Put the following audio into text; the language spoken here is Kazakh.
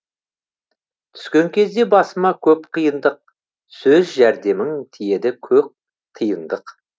түскен кезде басыма көп қиындық сөз жәрдемің тиеді көк тиындық